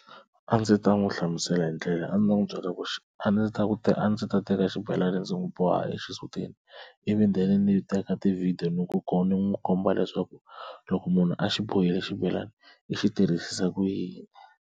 A ndzi ta n'wi hlamusela hi ndlela a ndzi ta n'wi byela ku xi a ndzi ta ku a ndzi ta teka xibelana ndzi n'wi boha exisutini ivi then ni teka ti video ni ku komba ni n'wi komba leswaku loko munhu a xi boxile xibelani i xi tirhisisa ku yini.